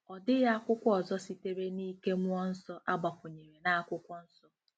Ọ dịghị akwụkwọ ọzọ sitere n'ike mmụọ nsọ a gbakwụnyèrè na Akwụkwọ Nsọ.